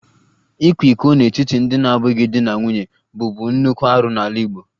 Ịkwa iko n'etiti ndị na-abụghị di na nwunye bụbu nnukwu arụ n'ala Igbo